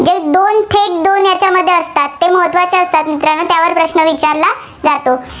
ते महत्त्वाचे असतात, मित्रांनो त्यावर प्रश्न विचारला जातो.